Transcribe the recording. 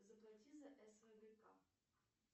заплати за